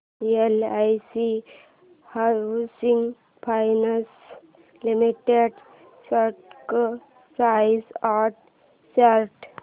LIC housing finance limited stock price and chart